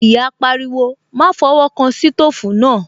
Ìyá pariwo, "Má fọwọ́ kan sítòfù náà"